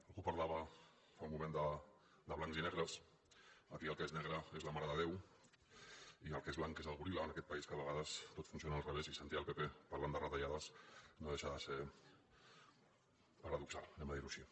algú parlava fa un moment de blancs i negres aquí el que és negre és la mare de déu i el que és blanc és el goril·la en aquest país que a vegades tot funciona al revés i sentir el pp parlant de retallades no deixa de ser paradoxal anem a dirho així